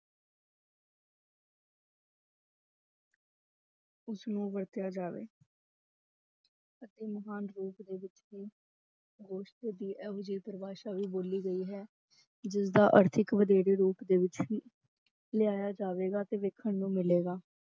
ਉਸਨੂੰ ਵਰਤਿਆ ਜਾਵੇ ਅਤੇ ਮਹਾਨ ਰੂਪ ਦੇ ਵਿੱਚ ਵੀ ਗੋਸ਼ਟ ਦੀ ਇਹੋ ਜਿਹੀ ਪਰਿਭਾਸ਼ਾ ਵੀ ਬੋਲੀ ਗਈ ਹੈ, ਜਿਸਦਾ ਅਰਥ ਇੱਕ ਵਧੇਰੇ ਰੂਪ ਦੇ ਵਿੱਚ ਹੀ ਲਿਆਇਆ ਜਾਵੇਗਾ ਤੇ ਵੇਖਣ ਨੂੰ ਮਿਲੇਗਾ,